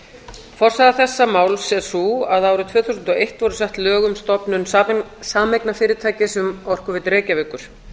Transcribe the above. forsaga þessa máls er sú að árið tvö þúsund og eitt voru sett lög um stofnun sameignarfyrirtækis um orkuveitu reykjavíkur